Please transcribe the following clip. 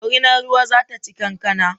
Dorinar ruwa zata ci kankana